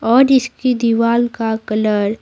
और इसकी दीवार का कलर --